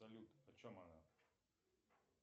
салют о чем она